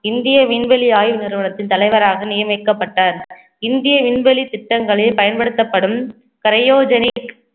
இந்திய விண்வெளி ஆய்வு நிறுவனத்தின் தலைவராக நியமிக்கப்பட்டார். இந்திய விண்வெளி திட்டங்களில் பயன்படுத்தப்படும்